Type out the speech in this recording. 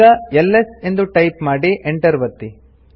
ಈಗ ಎಲ್ಎಸ್ ಎಂದು ಟೈಪ್ ಮಾಡಿ Enter ಒತ್ತಿ